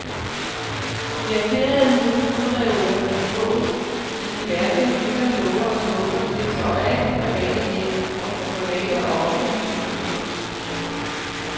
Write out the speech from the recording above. De lakerede modulreoler, som fås med diverse hylder, låger og skuffer, ses overalt i private hjem og på private og offentlige kontorer.